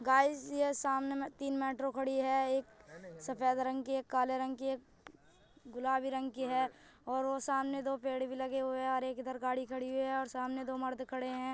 Guys यह सामने में तीन मेट्रो खड़ी हैं एक सफेद रंग की एक काले रंग की एक गुलाबी रंग की है | सामने में दो पेड़ भी लगे हुए हैं और एक इधर गाड़ी खड़ी हुई है और सामने दो मर्द खड़े है।